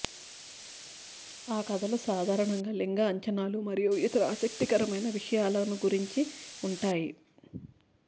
ఆ కథలు సాదారణంగా లింగ అంచనాలు మరియు ఇతర ఆసక్తికరమైన విషయాల గురించి ఉంటాయి